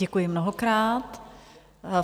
Děkuji mnohokrát.